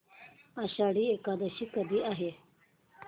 आषाढी एकादशी कधी आहे